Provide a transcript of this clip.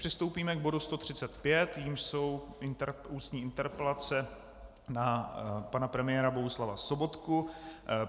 Přistoupíme k bodu 135, jímž jsou ústní interpelace na pana premiéra Bohuslava Sobotku.